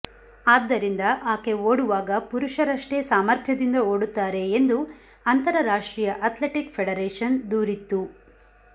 ಆದ್ದರಿಂದ ಆಕೆ ಓಡುವಾಗ ಪುರುಷರಷ್ಟೇ ಸಾಮರ್ಥ್ಯದಿಂದ ಓಡುತ್ತಾರೆ ಎಂದು ಅಂತರರಾಷ್ಟ್ರೀಯ ಅಥ್ಲೆಟಿಕ್ ಫೆಡರೇಷನ್ ದೂರಿತ್ತು